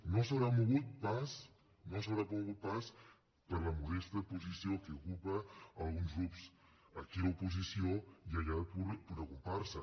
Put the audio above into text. no es deu haver mogut pas no es deu haver mogut pas per la modesta posició que ocupen alguns grups aquí d’oposició i allà pura comparsa